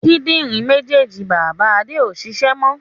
Kíndìnrín méjèèjì bàbá Adé ó ṣiṣẹ́ mọ